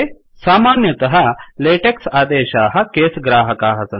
सामान्यतः लेटेक्स् आदेशाः केस् ग्राहकाः सन्ति